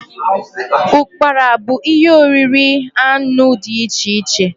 ụkpara bu ihe oriri anụ dị iche iche.